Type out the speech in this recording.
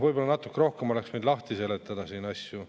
Võib-olla natuke rohkem oleks võinud lahti seletada siin asju.